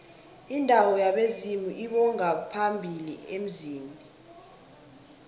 indawo yabezimu lbongaphambili emzini